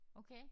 Okay